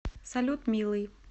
салют милый